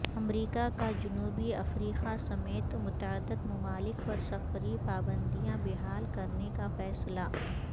امریکہ کا جنوبی افریقہ سمیت متعدد ممالک پر سفری پابندیاں بحال کرنے کا فیصلہ